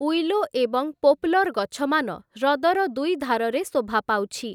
Willow ଏବଂ poplar ଗଛମାନ ହ୍ରଦର ଦୁଇ ଧାରରେ ଶୋଭା ପାଉଛି ।